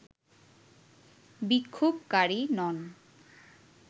বিক্ষোভকারী নন